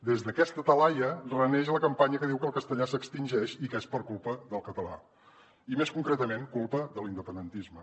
des d’aquesta talaia reneix la campanya que diu que el castellà s’extingeix i que és per culpa del català i més concretament culpa de l’independentisme